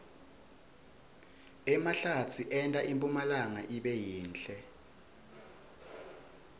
emahlatsi enta impumlanga ibe yinhle